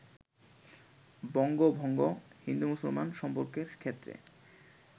বঙ্গভঙ্গ হিন্দু-মুসলমান সম্পর্কের ক্ষেত্রে